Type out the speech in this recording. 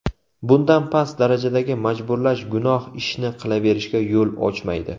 Bundan past darajadagi majburlash gunoh ishni qilaverishga yo‘l ochmaydi.